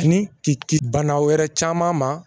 Ni ke ci bana wɛrɛ caman ma